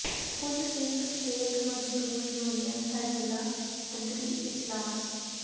ਕੁੱਲ ਹਿੰਦ ਖੇਤ ਮਜ਼ਦੂਰ ਯੂਨੀਅਨ ਦਾ ਜ਼ਿਲ੍ਹਾ ਪੱਧਰੀ ਇਜਲਾਸ